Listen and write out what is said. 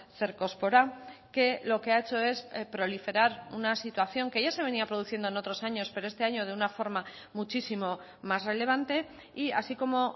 cercospora que lo que ha hecho es proliferar una situación que ya se venía produciendo en otros años pero este año de una forma muchísimo más relevante y así como